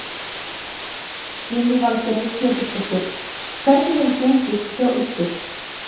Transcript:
Lillý Valgerður Pétursdóttir: Hvernig hefur gengið hjá ykkur?